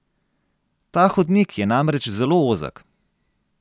Ta hodnik je namreč zelo ozek.